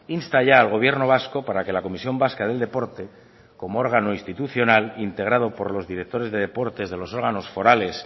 insta ya al gobierno vasco para que la comisión vasca del deporte como órgano institucional integrado por los directores de deportes de los órganos forales